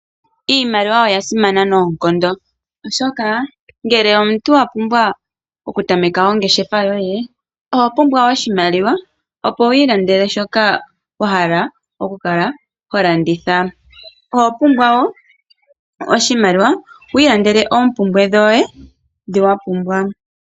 Iimaliwa oyasimana noonkondo oshoka ngele omuntu owapumbwa okutameka ongeshefa yoye oho pumbwa oshimaliwa opo wu ilandele shoka wahala okukala holanditha, oho pumbwa woo oshimaliwa wu ilandele oompumbwe dhoye ndhi wapumbwa.